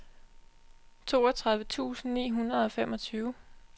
toogtredive tusind ni hundrede og femogtyve